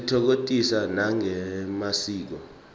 sititfokotisa nangemasiko